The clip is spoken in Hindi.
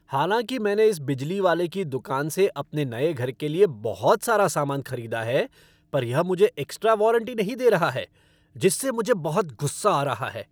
हालांकि मैंने इस बिजली वाले की दुकान से अपने नए घर के लिए बहुत सारे सामान खरीदा है, पर यह मुझे एक्स्ट्रा वारंटी नहीं दे रहा है जिससे मुझे बहुत गुस्सा आ रहा है।